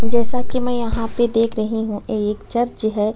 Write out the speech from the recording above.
जैसा की में यहाँ पे देख रही हूँ ये एक चर्च है।